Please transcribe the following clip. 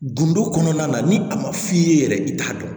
Gindo kɔnɔna na ni a ma f'i ye yɛrɛ i t'a dɔn